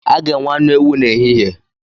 A ga-enwe anụ ewu n’ehihie